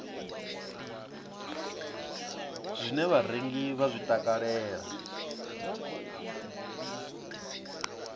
zwine vharengi vha zwi takalela